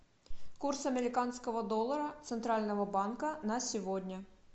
курс американского доллара центрального банка на сегодня